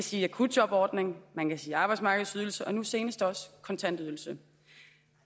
sige akutjobordning man kan sige arbejdsmarkedsydelse og nu senest også kontantydelse